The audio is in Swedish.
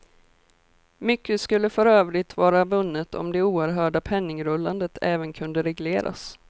Mycket skulle för övrigt vara vunnet om det oerhörda penningrullandet även kunde regleras.